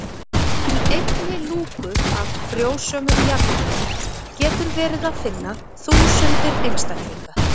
Í einni lúku af frjósömum jarðvegi getur verið að finna þúsundir einstaklinga.